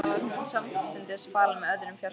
Þar var hún samstundis falin með öðrum fjársjóðum.